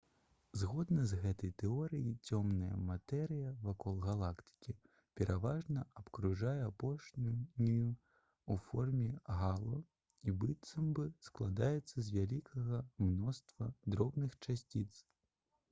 згодна з гэтай тэорыяй цёмная матэрыя вакол галактыкі пераважна абкружае апошнюю ў форме гало і быццам бы складаецца з вялікага мноства дробных часціц